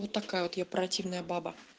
вот такая вот я противная баба